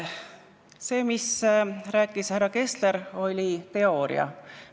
See, mis rääkis härra Kessler, oli teooria.